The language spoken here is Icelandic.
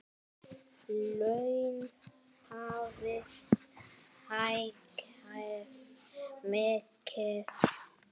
Laun hafi hækkað mikið.